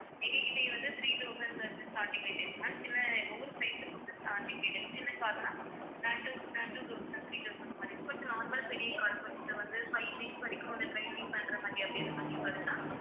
எங்ககிட்டயும் வந்து three thousand ல இருந்து starting rate ல இருக்கு ma'am சின்ன ஒவ்வொரு size அ பொறுத்து starting rate உ சின்ன car னா அஹ் two அ two thousand three thousand அந்தமாரியும் கொஞ்சம் normal பெரிய car கொஞ்சம் வந்து five வரைக்கும் வந்து driving பண்ற மாதிரி அப்படின்னு car ன்னா